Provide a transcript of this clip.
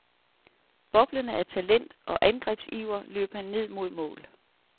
Boblende af talent og angrebsiver løb han ned mod mål.